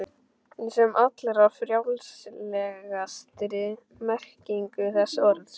Í sem allra frjálslegastri merkingu þess orðs.